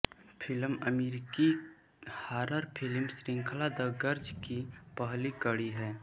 film अमेरिकी horror film श्रृंखला the Grudge की पहली कड़ी है